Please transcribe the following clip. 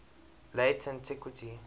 late antiquity